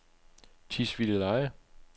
Tisvildeleje